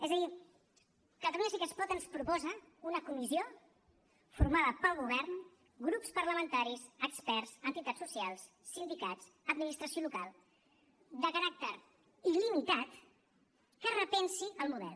és a dir catalunya sí que es pot ens proposa una comissió formada pel govern grups parlamentaris experts entitats socials sindicats administració local de caràcter il·limitat que repensi el model